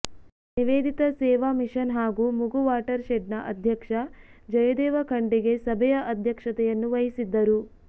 Nivedita Seva Mission ಹಾಗೂ Mugu water ಶೆಡ್ನ ಅಧ್ಯಕ್ಷ ಜಯದೇವ ಖಂಡಿಗೆ ಸಭೆಯ ಅಧ್ಯಕ್ಷತೆಯನ್ನು ವಹಿಸಿದ್ದರು